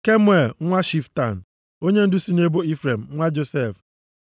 Kemuel nwa Shiftan, onyendu si nʼebo Ifrem, nwa Josef.